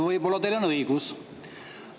Võib-olla teil on õigus.